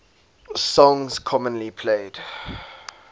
songs commonly played